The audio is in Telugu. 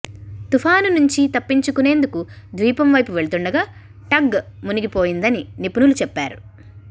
తుపాను నుంచి తప్పించుకునేందుకు ద్వీపం వైపు వెళుతుండగా టగ్ మునిగివపోయిందని నిపుణులు చెప్పారు